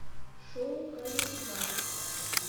шоу камеди баттл